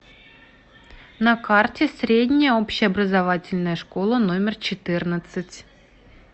на карте средняя общеобразовательная школа номер четырнадцать